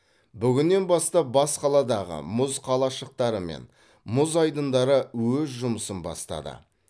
бүгіннен бастап бас қаладағы мұз қалашықтары мен мұзайдындары өз жұмысын бастады